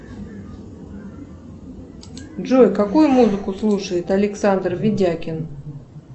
джой какую музыку слушает александр ведякин